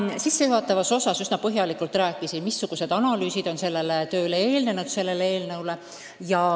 Ma sissejuhatavas osas üsna põhjalikult rääkisin, missugused analüüsid on sellele eelnõule eelnenud.